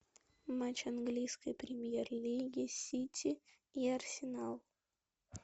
матч английской премьер лиги сити и арсенал